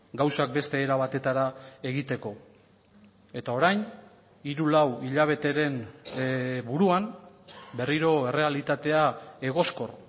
gauzak beste era batetara egiteko eta orain hiru lau hilabeteren buruan berriro errealitatea egoskor